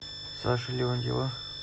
саши леонтьева